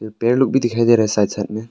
पेड़ लोग भी दिखाई दे रहे हैं साथ साथ में।